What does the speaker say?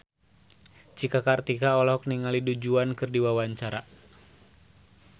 Cika Kartika olohok ningali Du Juan keur diwawancara